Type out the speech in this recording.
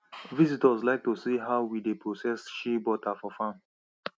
visitors like to see how we dey process shea butter for farm